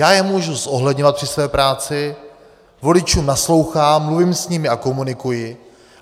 Já je mohu zohledňovat při své práci, voličům naslouchám, mluvím s nimi a komunikuji.